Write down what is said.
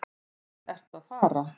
Hvert ertu að fara?